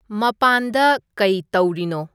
ꯃꯄꯥꯟꯗ ꯀꯩ ꯇꯧꯔꯤꯅꯣ